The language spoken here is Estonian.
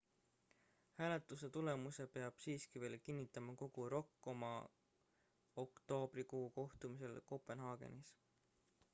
hääletuse tulemuse peab siiski veel kinnitama kogu rok oma oktoobrikuu kohtumisel kopenhaagenis